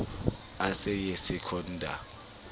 o sa ye secunda o